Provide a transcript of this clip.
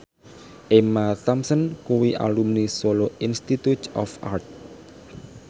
Emma Thompson kuwi alumni Solo Institute of Art